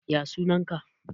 ya sunanka?